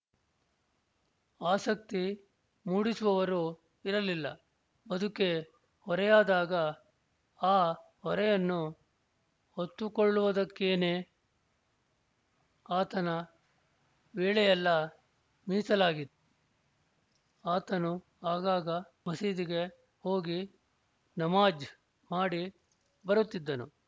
ಆಸಕ್ತಿ ಮೂಡಿಸುವವರೂ ಇರಲಿಲ್ಲ ಬದುಕೇ ಹೊರೆಯಾದಾಗ ಆ ಹೊರೆಯನ್ನು ಹೊತ್ತುಕೊಳ್ಳುವುದಕ್ಕೇನೆ ಆತನ ವೇಳೆಯೆಲ್ಲ ಮೀಸಲಾಗಿತ್ತು ಆತನು ಆಗಾಗ ಮಸೀದಿಗೆ ಹೋಗಿ ನಮಾಜ್ ಮಾಡಿ ಬರುತ್ತಿದ್ದನು